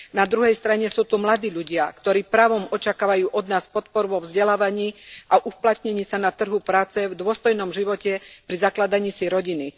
Na druhej strane sú tu mladí ľudia, ktorí právom očakávajú od nás podporu vo vzdelávaní a v uplatnení sa na trhu práce a v dôstojnom živote pri zakladaní si rodiny.